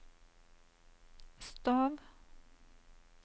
stav